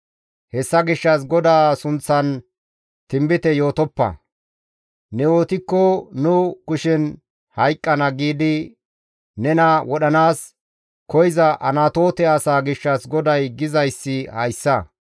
Hessa gishshas, «GODAA sunththan tinbite yootoppa; ne yootikko nu kushen hayqqana» giidi nena wodhanaas koyza Anatoote asaa gishshas GODAY gizayssi hayssa.